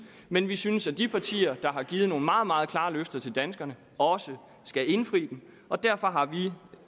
men vi synes at de partier der har givet nogle meget meget klare løfter til danskerne også skal indfri dem og derfor har vi